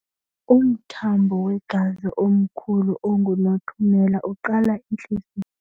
Umthambo wegazi omkhulu ongunothumela uqala entliziyweni.